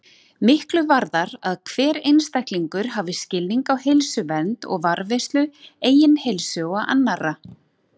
Miklu varðar að hver einstaklingur hafi skilning á heilsuvernd og varðveislu eigin heilsu og annarra.